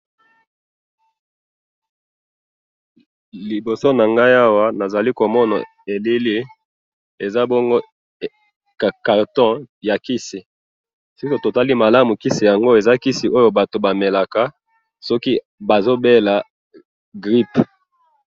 liboso nanga awa nazali komona elili eza bongo carton ya kisi eza kisi batu ba melaka soki bazo bela grippe